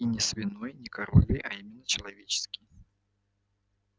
и не свиной не коровьей а именно человеческой